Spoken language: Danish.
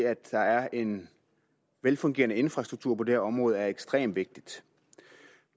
at der er en velfungerende infrastruktur på det her område er ekstremt vigtigt